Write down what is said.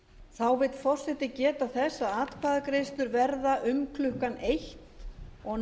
þá vill forseti geta þess að atkvæðagreiðslur verða um klukkan eitt og nýr fundur að þeim loknum